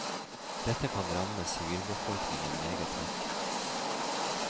Dette kan ramme sivilbefolkningen meget hardt.